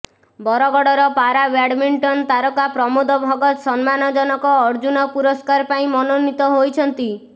ବରଗଡ଼ର ପାରାବ୍ୟାଡ୍ମିଣ୍ଟନ୍ ତାରକା ପ୍ରମୋଦ ଭଗତ ସମ୍ମାନଜନକ ଅର୍ଜୁନ ପୁରସ୍କାର ପାଇଁ ମନୋନୀତ ହୋଇଛନ୍ତି